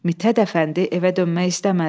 Mithət Əfəndi evə dönmək istəmədi.